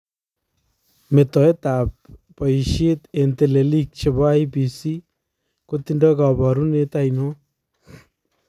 Metoetab boyisheet en teleliik chebo IEBC kotindo kabarunet ainon?